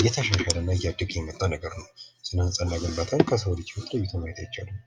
እየተሻለ እና እያደገ የመጣ ነገር ነው። ስነ ህንጻ እና ግንባታን ከሰው ልጅ ህይወት ለይቶ ማየት አይቻልም።